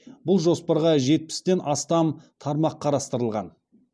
бұл жоспарға жетпістен астам тармақ қарастырылған